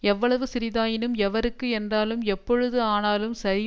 எவ்வளவு சிறிதாயினும் எவருக்கு என்றாலும் எப்பொழுது ஆனாலும் சரி